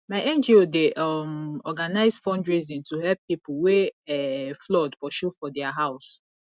my ngo dey um organise fundraising to help pipo wey um flood pursue for their house